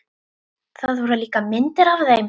Það voru líka myndir af þeim.